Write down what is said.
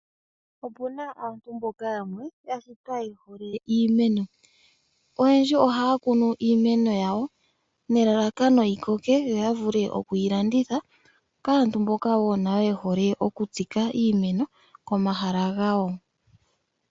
Opuna aantu mboka yamwe yashitwa yehole iimeno, oyendji ohakunu iimeno yawo nelalakano yikoke yo oyavule okwi landitha kaantu mboka wo nayo yehole okutsika iimeno komahala ngawo.